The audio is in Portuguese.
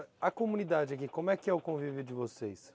A comunidade aqui, como é que é o convívio de vocês?